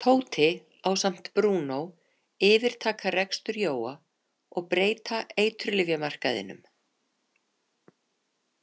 Tóti ásamt Brúnó yfirtaka rekstur Jóa og breyta eiturlyfjamarkaðinum.